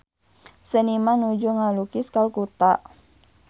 Seniman nuju ngalukis Kalkuta